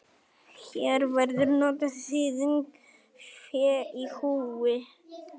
Hér verður notuð þýðingin fé í húfi.